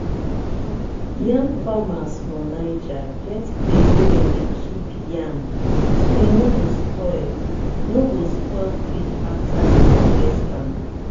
um people wey dey people wey dey grow pepper for osun dey use small-small water drop system wey help save water and bring better harvest.